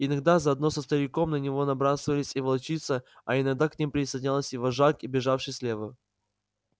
иногда заодно со стариком на него набрасывалась и волчица а иногда к ним присоединялся и вожак бежавший слева